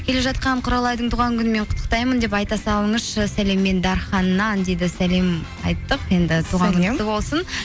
келе жатқан құралайдың туған күнімен құтықтаймын деп айта салыңызшы сәлеммен дарханнан дейді сәлем айттық енді құтты болсын